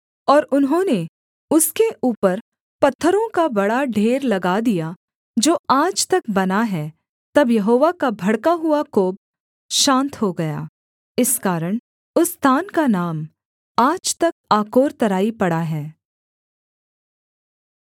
और उन्होंने उसके ऊपर पत्थरों का बड़ा ढेर लगा दिया जो आज तक बना है तब यहोवा का भड़का हुआ कोप शान्त हो गया इस कारण उस स्थान का नाम आज तक आकोर तराई पड़ा है